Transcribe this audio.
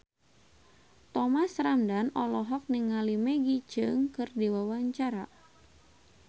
Thomas Ramdhan olohok ningali Maggie Cheung keur diwawancara